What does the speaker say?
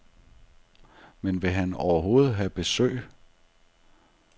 Men vil han overhovedet have besøg.